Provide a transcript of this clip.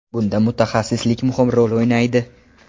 Bunda mutaxassislik muhim rol o‘ynaydi.